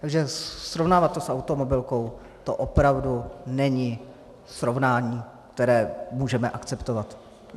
Takže srovnávat to s automobilkou to opravdu není srovnání, které můžeme akceptovat.